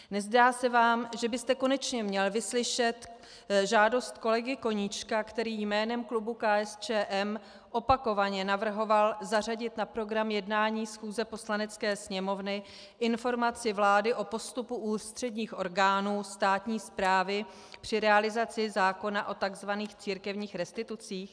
Nezdá se vám, že byste konečně měl vyslyšet žádost kolegy Koníčka, který jménem klubu KSČM opakovaně navrhoval zařadit na program jednání schůze Poslanecké sněmovny informaci vlády o postupu ústředních orgánů státní správy při realizaci zákona o tzv. církevních restitucích?